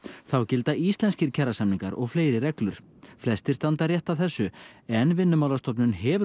þá gilda íslenskir kjarasamningar og fleiri reglur flestir standa rétt að þessu en Vinnumálastofnun hefur